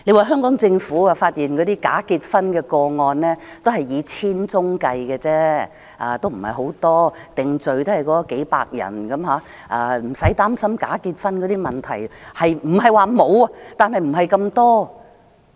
香港政府說，假結婚的個案只有千宗，不算太多，定罪只有數百人，不用擔心假結婚的問題；不是說沒有，但不是太多。